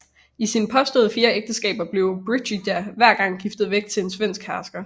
I sine påståede fire ægteskaber blev Brigida hver gang giftet væk til en svensk hersker